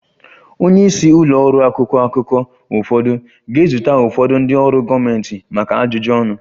Onye isi ụlọ ọrụ akwụkwọ akụkọ ụfọdụ ga-ezute ụfọdụ ndị ọrụ gọọmentị maka ajụjụ ọnụ